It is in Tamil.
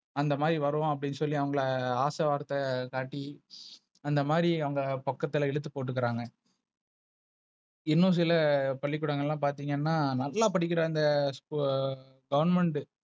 அந்த மாறி வருவோம் அப்படினு சொல்லி அவங்க ஆசை வார்த்தை காட்டி அந்த மாரி அவங்க பக்கத்துல இழுத்து பொடுக்குறாங்க. இன்னு சில பள்ளி குடங்கள பாத்தீங்கன்னா நல்ல படிக்கிற அந்த சு Government.